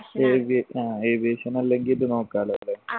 avia ആഹ് aviation അല്ലെങ്കിൽ ഇത് നോക്കാലോ അല്ലെ